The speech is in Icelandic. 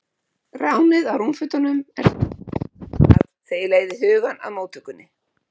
Ránið á rúmfötunum er það eina sem kemst að þegar ég leiði hugann að móttökunni.